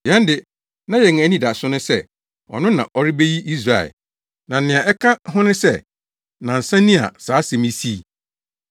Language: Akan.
Yɛn de, na yɛn ani da so sɛ ɔno na ɔrebegye Israel, na nea ɛka ho ne sɛ nnansa ni a saa asɛm yi sii.